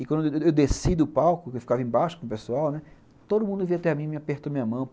E quando eu desci do palco, que eu ficava embaixo com o pessoal, né, todo mundo veio até mim e me apertou a minha mão.